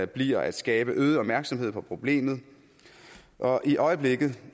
bliver at skabe øget opmærksomhed på problemet og i øjeblikket